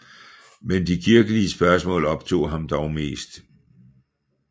Men de kirkelige spørgsmål optog ham dog mest